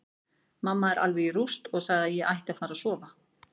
Mamma er alveg í rúst og sagði að ég ætti að fara að sofa.